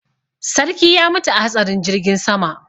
Sarki ya mutu a hatsarin jirgin sama.